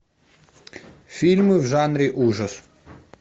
фильмы в жанре ужас